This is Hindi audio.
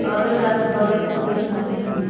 और एक गांछ बगल से दिख रहे हैं।